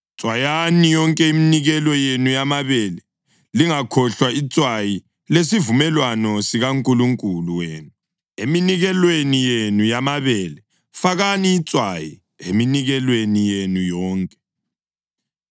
Tswayani yonke iminikelo yenu yamabele. Lingakhohlwa itswayi lesivumelwano sikaNkulunkulu wenu eminikelweni yenu yamabele: fakani itswayi eminikelweni yenu yonke.